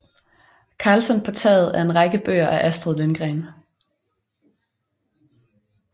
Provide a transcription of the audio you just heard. Karlsson på taget er en række bøger af Astrid Lindgren